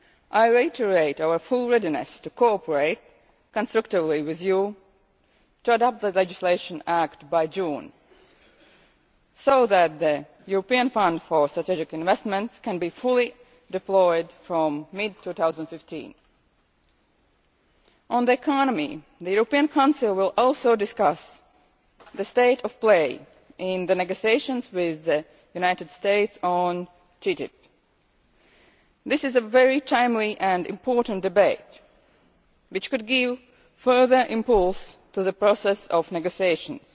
I reiterate our full readiness to cooperate constructively with you to adopt the legislative act by June, so that the European Fund for Strategic Investments can be fully deployed from mid 2015. On the economy, the European Council will also discuss the state of play in the negotiations with the United States on TTIP. This is a very timely and important debate which could give further impulse to the process of negotiations.